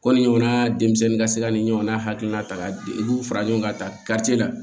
Ko ni ɲɔgɔnna denmisɛnnin ka se ka ni ɲɔgɔnna hakilina ta i b'u fara ɲɔgɔn kan tariki la